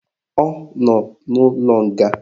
Ọ nọ n'ụlọ nga